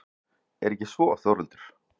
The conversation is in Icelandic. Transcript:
Er ekki svo Þórhildur?